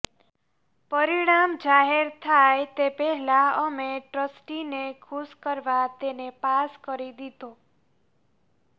પરિણામ જાહેર થાય તે પહેલાં અમે ટ્રસ્ટીને ખુશ કરવા તેને પાસ કરી દીધો